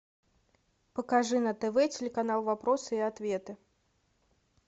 покажи на тв телеканал вопросы и ответы